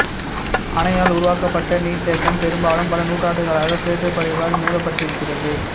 அணையால் உருவாக்கப்பட்ட நீர்த்தேக்கம் பெரும்பாலும் பல நூற்றாண்டுகளாக சேற்றுப்படிவால் மேவப்பட்டிருக்கிறது